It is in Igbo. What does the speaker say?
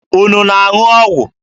Unu na-aṅụ ọgwụ?